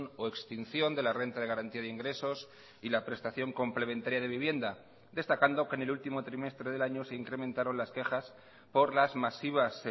o extinción de la renta de garantía de ingresos y la prestación complementaria de vivienda destacando que en el último trimestre del año se incrementaron las quejas por las masivas